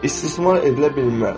İstismar edilə bilməz.